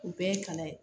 U bɛɛ ye kalan ye